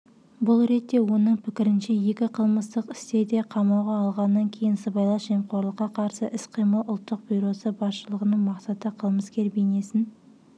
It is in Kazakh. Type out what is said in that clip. бұл ретте оның пікірінше екі қылмыстық істе де қамауға алғаннан кейін сыбайлас жемқорлыққа қарсы іс-қимыл ұлттық бюросы басшылығының мақсаты қылмыскер бейнесін